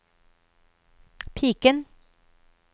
piken